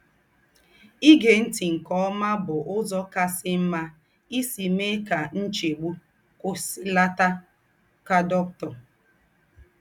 “ Ígé ńtì nke ómà bù úzọ̀ kàsì m̀mà ísì méè kà ńchègbù kwùsìlàtà, ” kà Dr.